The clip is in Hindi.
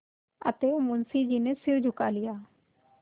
अतएव मुंशी जी ने सिर झुका लिया